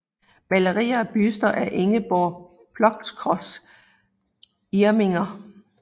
Maleri og buste af Ingeborg Plockross Irminger